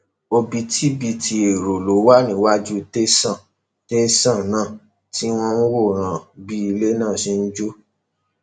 òbítíbitì èrò ló wà níwájú tẹsán tẹsán náà tí wọn ń wòran bí ilẹ náà ṣe ń jóná